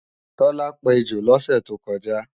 Tọ́lá pejò lọ́sẹ̀ tó kọjá